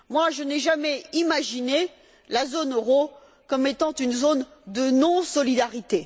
Je n'ai jamais imaginé la zone euro comme étant une zone de non solidarité.